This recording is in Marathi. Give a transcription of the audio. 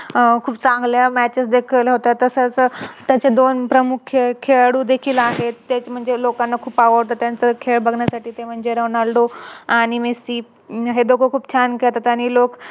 अह खूप चांगल्या Matches देखील होतात. तस तसच दोन प्रमुख्य खेळाडू देखील आहे, एक म्हणजे लोकांना खूप आवडत त्यांचा खेळ बघण्यासाठी ते म्हणजे Ronaldo आणि Messi हे दोघे खूप छान खेळतात आणि लोक